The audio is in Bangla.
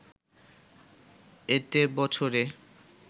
এতে বছরে